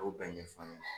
A y'o bɛɛ ɲɛfɔ n ɲɛna